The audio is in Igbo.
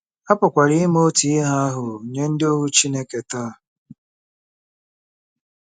A pụkwara ime otu ihe ahụ nye ndị ohu Chineke taa.